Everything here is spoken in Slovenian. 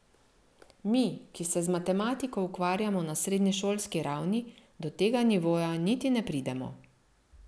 Mi, ki se z matematiko ukvarjamo na srednješolski ravni, do tega nivoja niti ne pridemo.